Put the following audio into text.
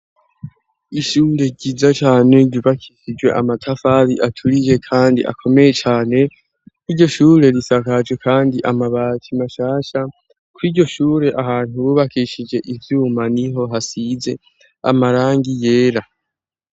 Ishure ryiza cane ryubakishijwe amatafari aturiye kandi akomeye cane, iryo shure risakaje kandi amabati mashasha; kw' iryo shure ahantu bubakishije ivyuma niho hasize amarangi yera.